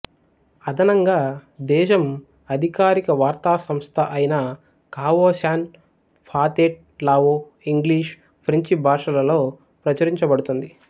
అదనంగా దేశం అధికారిక వార్తా సంస్థ అయిన Khao San Pathet Lao English ఫ్రెంచి భాషలలో ప్రచురించబడుతుంది